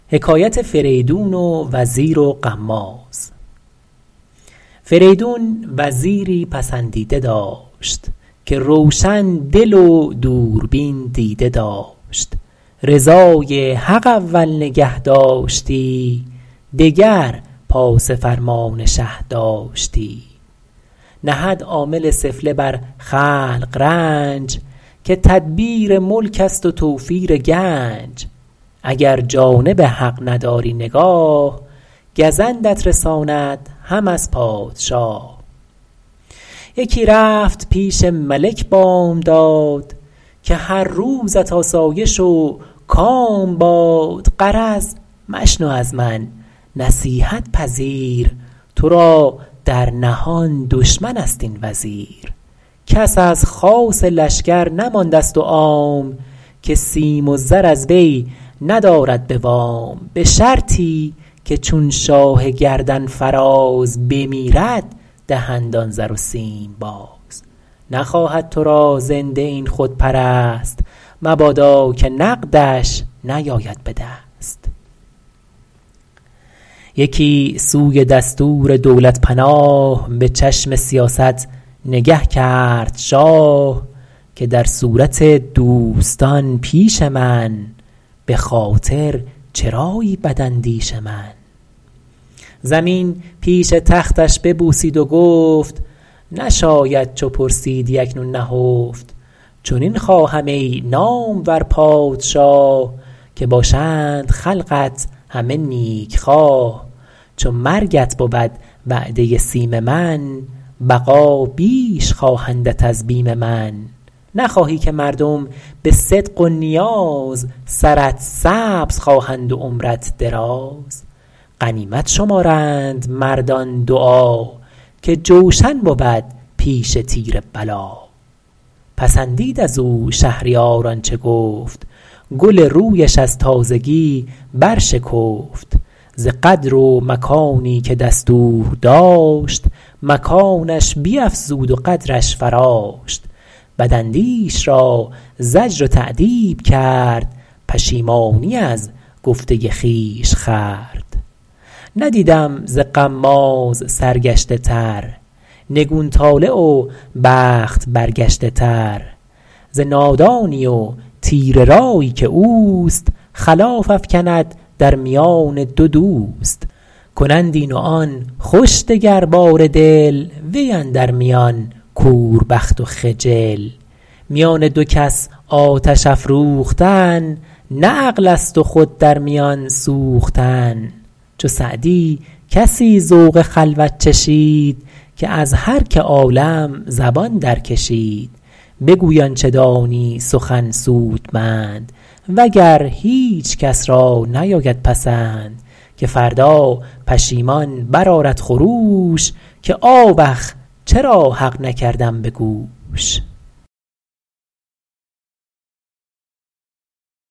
فریدون وزیری پسندیده داشت که روشن دل و دوربین دیده داشت رضای حق اول نگه داشتی دگر پاس فرمان شه داشتی نهد عامل سفله بر خلق رنج که تدبیر ملک است و توفیر گنج اگر جانب حق نداری نگاه گزندت رساند هم از پادشاه یکی رفت پیش ملک بامداد که هر روزت آسایش و کام باد غرض مشنو از من نصیحت پذیر تو را در نهان دشمن است این وزیر کس از خاص لشکر نمانده ست و عام که سیم و زر از وی ندارد به وام به شرطی که چون شاه گردن فراز بمیرد دهند آن زر و سیم باز نخواهد تو را زنده این خودپرست مبادا که نقدش نیاید به دست یکی سوی دستور دولت پناه به چشم سیاست نگه کرد شاه که در صورت دوستان پیش من به خاطر چرایی بد اندیش من زمین پیش تختش ببوسید و گفت نشاید چو پرسیدی اکنون نهفت چنین خواهم ای نامور پادشاه که باشند خلقت همه نیک خواه چو مرگت بود وعده سیم من بقا بیش خواهندت از بیم من نخواهی که مردم به صدق و نیاز سرت سبز خواهند و عمرت دراز غنیمت شمارند مردان دعا که جوشن بود پیش تیر بلا پسندید از او شهریار آنچه گفت گل رویش از تازگی برشکفت ز قدر و مکانی که دستور داشت مکانش بیفزود و قدرش فراشت بد اندیش را زجر و تأدیب کرد پشیمانی از گفته خویش خورد ندیدم ز غماز سرگشته تر نگون طالع و بخت برگشته تر ز نادانی و تیره رایی که اوست خلاف افکند در میان دو دوست کنند این و آن خوش دگر باره دل وی اندر میان کور بخت و خجل میان دو کس آتش افروختن نه عقل است و خود در میان سوختن چو سعدی کسی ذوق خلوت چشید که از هر که عالم زبان درکشید بگوی آنچه دانی سخن سودمند وگر هیچ کس را نیاید پسند که فردا پشیمان برآرد خروش که آوخ چرا حق نکردم به گوش